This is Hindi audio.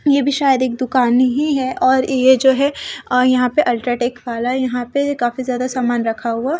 ये भी शायद एक दुकान ही है और ये जो है और यहां पे अल्ट्राटेक वाला यहां पे काफी ज्यादा सामान रखा हुआ--